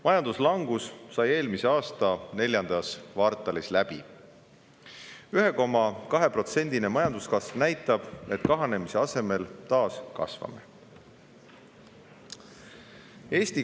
Majanduslangus sai eelmise aasta neljandas kvartalis läbi ning 1,2%-line majanduskasv näitab, et kahanemise asemel majandus taas kasvab.